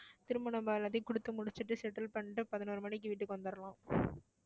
திரும்ப நம்ம எல்லாத்தையும் குடுத்து முடிச்சுட்டு settle பண்ணிட்டு பதினோரு மணிக்கு வீட்டுக்கு வந்தரலாம்